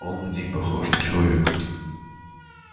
он в ней похож на человека